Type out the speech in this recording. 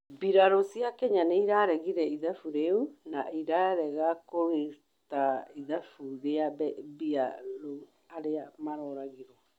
Bĩrarũ cĩa Kenya nĩĩraregĩre ithabũ rĩũ na rĩrarega kũrũta ithabũ rĩa bĩrarũ arĩa maroragĩrwo